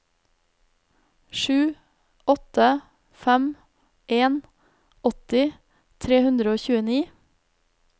sju åtte fem en åtti tre hundre og tjueni